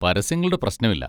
പരസ്യങ്ങളുടെ പ്രശ്നമില്ല.